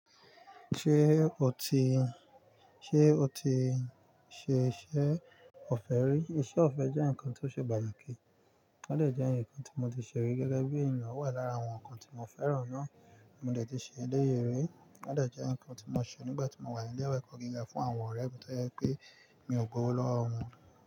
Ṣé o ti, ṣe o ti ṣe iṣẹ́ ọ̀fẹ́ rí? Iṣẹ́ ọ̀fẹ́ jẹ́ nǹkan tó ṣe pàtàkì, ó dè jẹ́ ǹkan tí mo ti ṣe rí gẹ́gẹ́ bí ènìyàn, o wà lára àwọn nǹkan tí mo fẹ́ràn náà, mo de ti ṣe eléyi rí, ó dè jẹ́ ǹkan tí mo ṣe nígbà tí mo wà ní ilé-ẹ̀kọ́ gíga fún àwọn ọ̀rẹ́ mi toje pé mi ò gbówó lọ́wọ́ wọn.